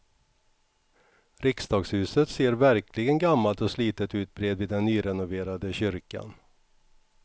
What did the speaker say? Riksdagshuset ser verkligen gammalt och slitet ut bredvid den nyrenoverade kyrkan.